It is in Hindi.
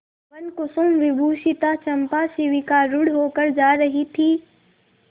वनकुसुमविभूषिता चंपा शिविकारूढ़ होकर जा रही थी